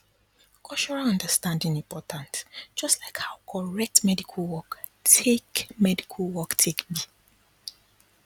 cultural understanding important just like how correct medical work take medical work take be